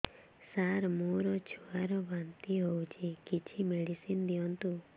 ସାର ମୋର ଛୁଆ ର ବାନ୍ତି ହଉଚି କିଛି ମେଡିସିନ ଦିଅନ୍ତୁ